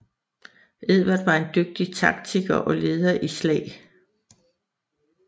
Edvard var en dygtig taktikker og leder i slag